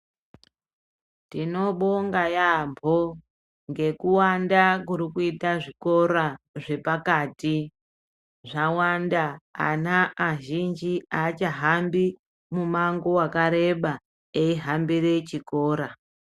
Tinobonga yaampo ngekuwanda kurikuita zvikora zvepakati zvawanda ana azhinji aachahambi mumango wakareba eihambire chikora.